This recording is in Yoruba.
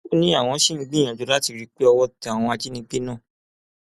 ó ní àwọn ṣì ń gbìyànjú láti rí i pé owó tẹ àwọn ajínigbé náà